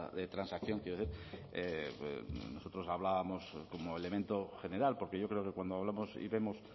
de transacción nosotros hablábamos como elemento general porque yo creo que cuando hablamos y vemos